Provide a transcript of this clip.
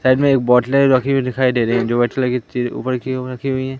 Side में बोतले रखी हुई दिखाई दे रही है जो अच्छी लगी थी वो ऊपर की ओर रखी हुई है।